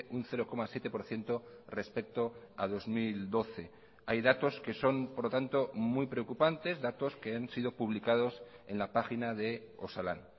un cero coma siete por ciento respecto a dos mil doce hay datos que son por lo tanto muy preocupantes datos que han sido publicados en la página de osalan